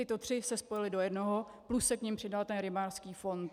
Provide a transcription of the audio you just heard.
Tyto tři se spojily do jednoho plus se k nim přidal ten rybářský fond.